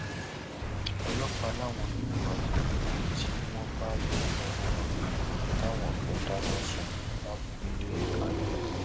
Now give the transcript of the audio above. ọlọpàá làwọn yóò wádìí wẹrẹ tí wọn bá ìbò lọwọ rẹ táwọn kan dáná sun lábúlé adó